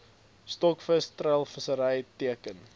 stokvis treilvissery teiken